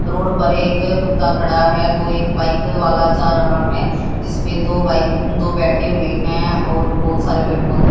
road पर एक कुत्ता खड़ा है तो एक बाइक वाला जा रहा है जिसपे दो बाइक दो बैठे हुए हैंऔर बहोत सारे पेड़ पौधे--